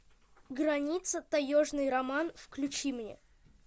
граница таежный роман включи мне